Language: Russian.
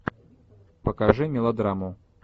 покажи мелодраму